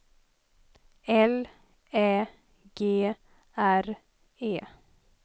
L Ä G R E